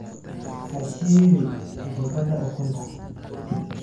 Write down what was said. Ha shiili gabadha ukunta.